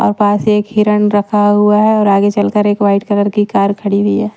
और पास एक हिरण रखा हुआ है और आगे चलकर एक व्हाईट कलर की कार खड़ी हुई है।